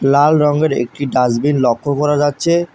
লাল রঙের একটি ডাসবিন লক্ষ করা যাচ্ছে।